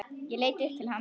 Ég leit upp til hans.